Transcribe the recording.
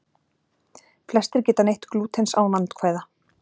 Flestir geta neytt glútens án vandkvæða.